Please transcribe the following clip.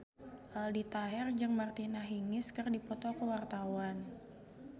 Aldi Taher jeung Martina Hingis keur dipoto ku wartawan